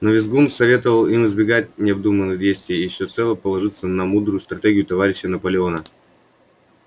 но визгун советовал им избегать необдуманных действий и всецело положиться на мудрую стратегию товарища наполеона